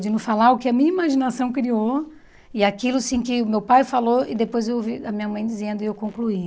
De não falar o que a minha imaginação criou e aquilo sim que meu pai falou e depois eu ouvi a minha mãe dizendo e eu concluí.